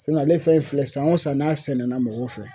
ale fɛn in filɛ san o san n'a sɛnɛna mɔgɔw fɛ